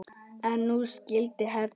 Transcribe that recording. En nú skyldi hefnt.